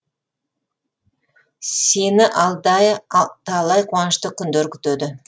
сені алда талай қуанышты күндер күтеді